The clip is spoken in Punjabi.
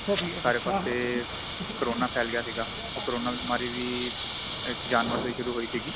ਸਾਰੇ ਪਾਸੇ ਕੋਰੋਨਾ ਫੇਲ ਗਿਆ ਸੀਗਾ ਉਹ ਕਰੋਨਾ ਬੀਮਾਰੀ ਵੀ ਇੱਕ ਜਾਨਵਰ ਤੋਂ ਹੀ ਸ਼ੁਰੂ ਹੋਈ ਸੀਗੀ